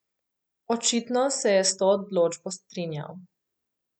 Očitno se je s to odločbo strinjal.